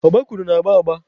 Ọgbakụrụ na-agba agba.